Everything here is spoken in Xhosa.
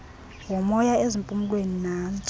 womoya ezimpumlweni nantso